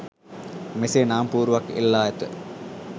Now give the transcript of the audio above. මෙසේ නාම පුවරුවක් එල්ලා ඇත.